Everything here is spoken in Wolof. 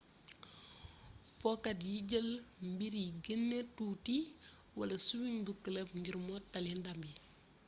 pookat yi jeel mbir yi geenee tuuti wala swings bu club ngir mottali ndam yi